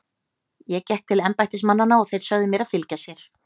Ég gekk til embættismannanna og þeir sögðu mér að fylgja sér.